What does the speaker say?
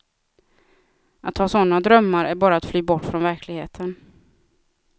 Att ha sådana drömmar är bara att fly bort från verkligheten.